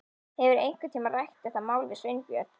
Hefurðu einhvern tíma rætt þetta mál við Sveinbjörn?